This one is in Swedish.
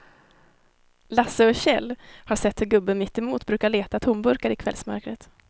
Lasse och Kjell har sett hur gubben mittemot brukar leta tomburkar i kvällsmörkret.